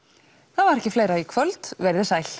það var ekki fleira í kvöld verið sæl